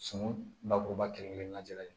Sunu bakuruba kelen kelen na lajɛ